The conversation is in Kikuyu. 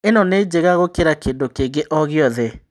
ĩno nĩ njega gũkĩra kĩndũ kĩngĩ o gĩothe